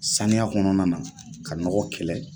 Saniya kɔnɔnana ka nɔgɔ kɛlɛ.